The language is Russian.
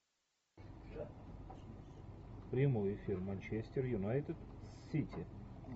прямой эфир манчестер юнайтед с сити